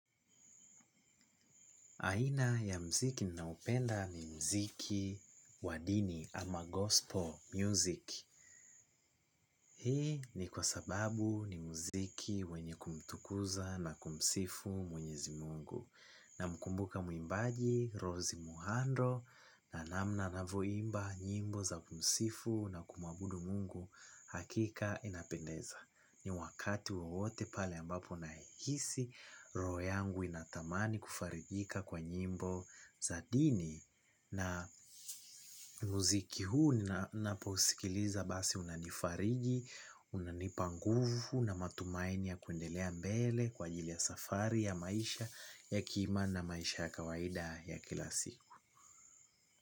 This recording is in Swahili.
Aina ya muziki ninaupenda ni muziki wa dini ama gospel music. Hii ni kwa sababu ni muziki wenye kumtukuza na kumsifu mwenyezi Mungu. Namkumbuka mwimbaji, Rose. Muhando, na namna anavyoimba nyimbo za kumsifu na kumuabudu Mungu hakika inapendeza. Ni wakati wowote pale ambapo nahisi, roho yangu inatamani kufarijika kwa nyimbo za dini. Na muziki huu ninaposikiliza basi unanifariji, unanipa nguvu na matumaini ya kuendelea mbele kwa ajili ya safari ya maisha ya kima na maisha ya kawaida ya kila siku.